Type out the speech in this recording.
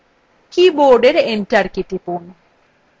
keyবোর্ডএর enter key টিপুন